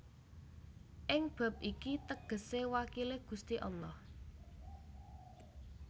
Ing bab iki tegese wakile Gusti Allah